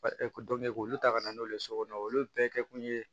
e dɔn k'olu ta ka na n'olu ye sokɔnɔ olu bɛɛ kɛ kun ye